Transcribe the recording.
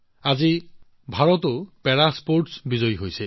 আজি ভাৰতেও পেৰা ক্ৰীড়াক্ষেত্ৰত সফলতা অৰ্জন কৰিছে